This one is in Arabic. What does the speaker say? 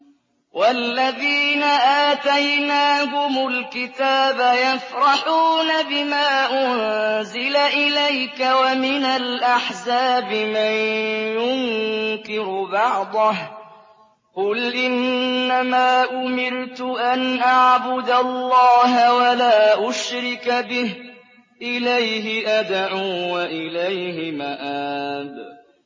وَالَّذِينَ آتَيْنَاهُمُ الْكِتَابَ يَفْرَحُونَ بِمَا أُنزِلَ إِلَيْكَ ۖ وَمِنَ الْأَحْزَابِ مَن يُنكِرُ بَعْضَهُ ۚ قُلْ إِنَّمَا أُمِرْتُ أَنْ أَعْبُدَ اللَّهَ وَلَا أُشْرِكَ بِهِ ۚ إِلَيْهِ أَدْعُو وَإِلَيْهِ مَآبِ